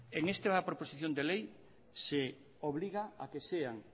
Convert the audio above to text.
en esta proposición de ley se obliga a que sean